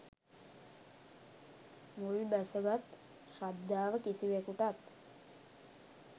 මුල්බැසගත් ශ්‍රද්ධාව කිසිවෙකුටත්